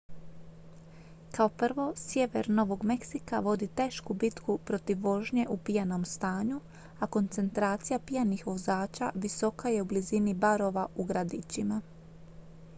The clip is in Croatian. kao prvo sjever novog meksika vodi tešku bitku protiv vožnje u pijanom stanju a koncentracija pijanih vozača visoka je u blizini barova u gradićima